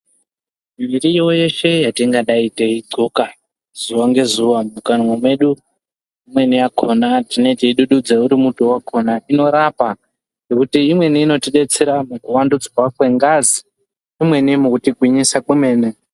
Mirivo yeshe yatingadai teidhloka zuva ngezuva mukanwa medu. Imweni yakona tinee teidududza uri muti vakona tinorapa. Nekuti imweni inotibetsera mukuvandudzwa kwengazi umweni mukutigwinyisa kwemene.